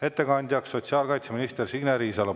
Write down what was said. Ettekandja on sotsiaalkaitseminister Signe Riisalo.